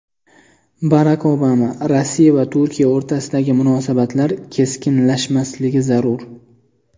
Barak Obama: Rossiya va Turkiya o‘rtasidagi munosabatlar keskinlashmasligi zarur.